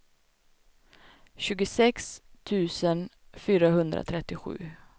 tjugosex tusen fyrahundratrettiosju